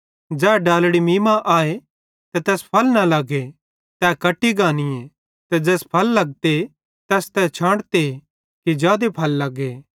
ज़ै डालड़ी मीं मां आए ते तैस फल न लगे तै कट्टी गानीए ते ज़ैस फल लगते तैस छांटते कि जादे फल लगे